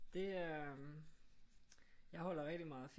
Det øh jeg holder rigtig meget af film